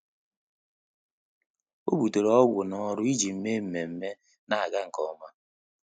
Ọ́ bùtéré ọ́gwụ́ n’ọ́rụ́ iji mèé mmemme nà-ágá nke ọma.